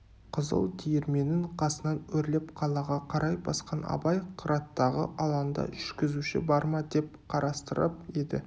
қызыл диірменнің қасынан өрлеп қалаға қарай басқан абай қыраттағы алаңда жүргізуші бар ма деп қарастырып еді